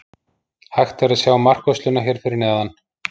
Hægt er að sjá markvörsluna hér fyrir neðan.